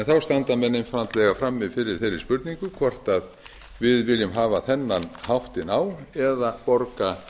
þá standa menn einfaldlega frammi fyrir þeirri spurningu hvort við viljum auka þennan háttinn á eða borga